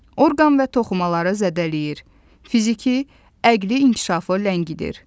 Orqan və toxumaları zədələyir, fiziki, əqli inkişafı ləngidir.